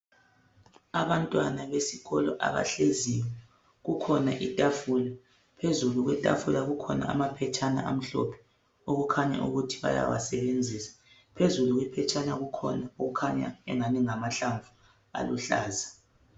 Abantwana besikolo abahleziyo kukhona itafula phezulu kwetafula kukhona amaphetshana amhlophe okukhanya ukuthi bayawasebenzisa phezulu kwephetshana kukhanya engani ngamahlamvu aluhlaza